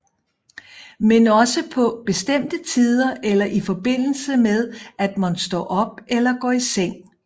Men også på bestemte tider eller i forbindelse med at man står op eller går i seng